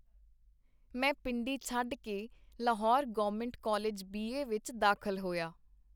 ਮੈਂ ਪਿੰਡੀ ਛੱਡ ਕੇ Lahore government college B. A. ਵਿਚ ਦਾਖਲ ਹੋਇਆ.